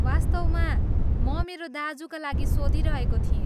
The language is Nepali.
वास्तवमा म मेरा दाज्युका लागि सोधिरहेको थिएँ।